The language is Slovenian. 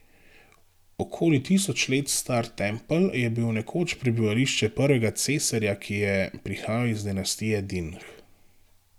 Okoli tisoč let star tempelj je bil nekoč prebivališče prvega cesarja, ki je prihajal iz dinastije Dinh.